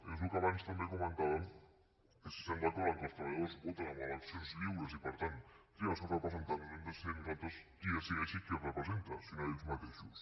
és el que abans també comentàvem que si estem d’acord que els treballadors voten en eleccions lliures i per tant trien els seus representants doncs no hem de ser nosaltres qui decideixi qui els representa sinó ells mateixos